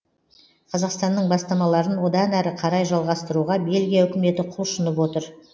қазақстанның бастамаларын одан әрі қарай жалғастыруға бельгия үкіметі құлшынып отыр